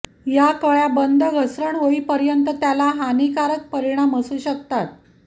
या कळ्या बंद घसरण होईपर्यंत त्याला हानिकारक परिणाम असू शकतात